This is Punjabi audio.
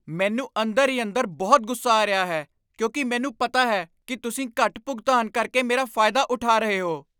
ਮੈਨੂੰ ਅੰਦਰ ਹੀ ਅੰਦਰ ਬਹੁਤ ਗੁੱਸਾ ਆ ਰਿਹਾ ਹੈ ਕਿਉਂਕਿ ਮੈਨੂੰ ਪਤਾ ਹੈ ਕਿ ਤੁਸੀਂ ਘੱਟ ਭੁਗਤਾਨ ਕਰਕੇ ਮੇਰਾ ਫਾਇਦਾ ਉਠਾ ਰਹੇ ਹੋ।